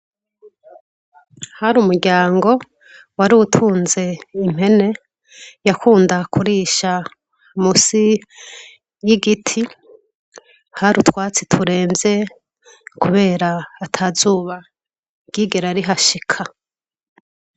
Hari umuryango warutunze impene yakunda kurisha munsi y’igiti, hari utwatsi turemvye kubera atazuba ryigera rihashika.